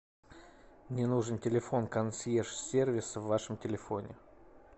мне нужен телефон консьерж сервиса в вашем телефоне